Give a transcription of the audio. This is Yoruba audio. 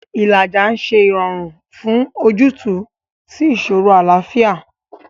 Ìlàjà ń ṣe ìrọ̀rùn fún ojútùú sí ìṣòro àlàáfíà.